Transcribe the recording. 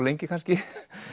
lengi kannski